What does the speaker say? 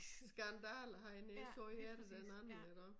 Skandale hernede så hører du den anden iggå